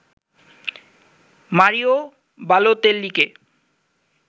Mario বালোতেল্লিকে